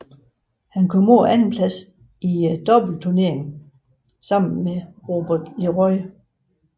Han kom på andenpladsen i doubleturneringen sammen med Robert LeRoy